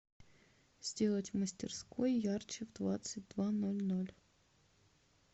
сделать в мастерской ярче в двадцать два ноль ноль